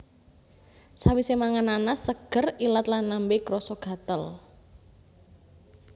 Sawisé mangan nanas seger ilat lan lambe krasa gatel